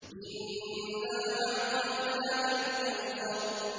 إِنَّا أَعْطَيْنَاكَ الْكَوْثَرَ